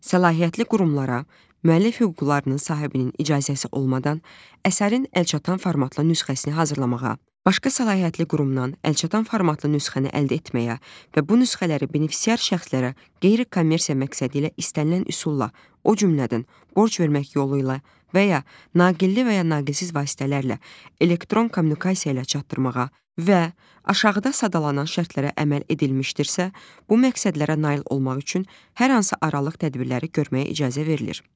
Səlahiyyətli qurumlara müəllif hüquqlarının sahibinin icazəsi olmadan əsərin əlçatan formatla nüsxəsini hazırlamağa, başqa səlahiyyətli qurumdan əlçatan formatlı nüsxəni əldə etməyə və bu nüsxələri benefisiar şəxslərə qeyri-kommersiya məqsədi ilə istənilən üsulla, o cümlədən borc vermək yolu ilə və ya naqilli və ya naqilsiz vasitələrlə, elektron kommunikasiya ilə çatdırmağa və aşağıda sadalanan şərtlərə əməl edilmişdirsə, bu məqsədlərə nail olmaq üçün hər hansı aralıq tədbirləri görməyə icazə verilir.